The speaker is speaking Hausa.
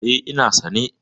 E, ina sane.